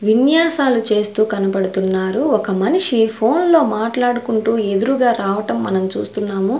విన్యాసాలు చేస్తూ కనపడుతున్నారు ఒక మనిషి ఫోన్లో మాట్లాడుకుంటూ ఎదురుగా రావటం మనం చూస్తున్నాము.